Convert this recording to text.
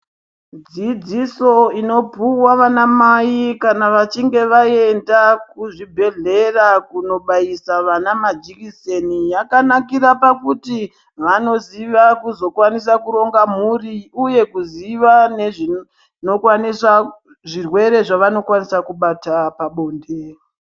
Dzidziso inopuva vana mai kana vachinge vaenda kuzvibhedhlera kunobaisa vana majekiseni yakanakira pakuti vanoziva kukwanisa kuzoronga mhuri, uye kuziva nezvinokwanisa zvirwere zvinokwanisa kubata pabonde.